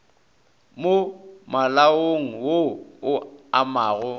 mo malaong wo o amago